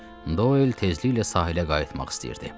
Sadəcə Doyl tezliklə sahilə qayıtmaq istəyirdi.